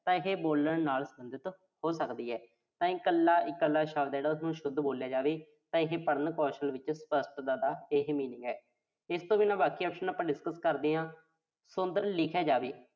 ਤਾਂ ਇਹੇ ਬੋਲਣ ਨਾਲ ਸਬੰਧਤ ਹੋ ਸਕਦੀ ਆ। ਤਾਂ ਇਕੱਲ-ਇਕੱਲਾ ਸ਼ਬਦ ਆ ਜਿਹੜਾ ਉਸਨੂੰ ਸ਼ੁੱਧ ਬੋਲਿਆ ਜਾਵੇ। ਤਾਂ ਇਹ ਪੜ੍ਹਨ ਕੌਸ਼ਲ ਦੇ ਵਿੱਚ ਸਪੱਸ਼ਟਤਾ ਦਾ ਇਹੇ meaning ਆ। ਇਸ ਤੋਂ ਬਿਨਾਂ ਬਾਕੀ option ਆਪਾਂ discuss ਕਰਦੇ ਆਂ। ਸੁੰਦਰ ਲਿਖਿਆ ਜਾਵੇ।